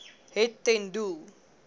het ten doel